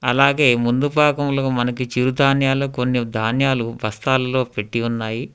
అలాగే ముందు భాగంలో మనకి చిరుధాన్యాలు కొన్ని ధాన్యాలు బస్తాలలో పెట్టి ఉన్నాయి.